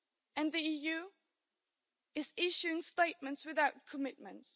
And the EU is issuing statements without commitments.